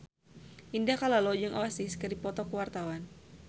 Indah Kalalo jeung Oasis keur dipoto ku wartawan